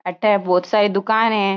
अठे बोहोत सारी दुकान है।